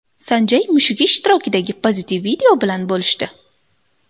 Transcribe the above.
San Jay mushugi ishtirokidagi pozitiv video bilan bo‘lishdi.